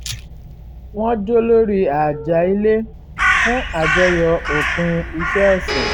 wọ́n jó lórí àjà ilé fún àjọyọ̀ òpin iṣẹ́ ọ̀sẹ̀